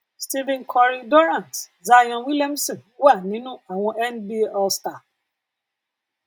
stephen curry durant zion williamson wà nínú àwọn nba allstar